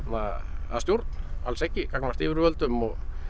að að stjórn alls ekki gagnvart yfirvöldum og